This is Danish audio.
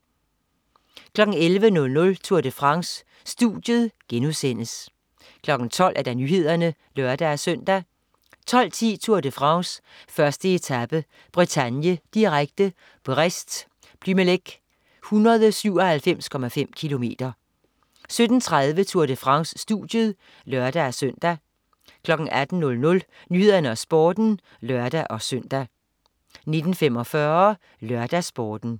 11.00 Tour de France. Studiet* 12.00 Nyhederne (lør-søn) 12.10 Tour de France: 1. etape. Bretagne, direkte. Brest-Plumelec, 197,5 km 17.30 Tour de France. Studiet (lør-søn) 18.00 Nyhederne og Sporten (lør-søn) 19.45 LørdagsSporten